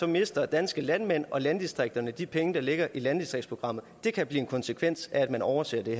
mister danske landmænd og landdistrikterne de penge der ligger i landdistriktsprogrammet det kan blive en konsekvens af at man overser det